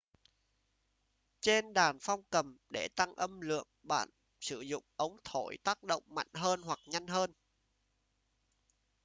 trên đàn phong cầm để tăng âm lượng bạn sử dụng ống thổi tác động mạnh hơn hoặc nhanh hơn